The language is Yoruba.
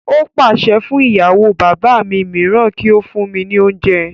Ó pàṣẹ fún ìyàwó bàbá mi mìíràn kí ó fún mí ní oúnjẹ